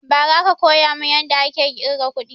Ba ra aka koya mun yadda ake ƙirga kuɗi